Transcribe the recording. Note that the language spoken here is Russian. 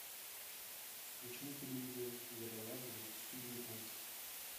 включи на телевизоре ералаш две тысячи девятнадцать